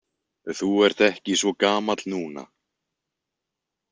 Þú ert ekki svo gamall núna.